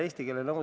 Selline eelnõu.